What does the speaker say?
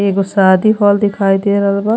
एगो शादी हॉल दिखाई दे रहल बा।